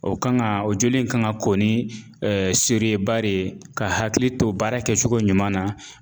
O kan ŋaa o joli in kan ŋa ko ni ba re ka hakili to baara kɛcogo ɲuman na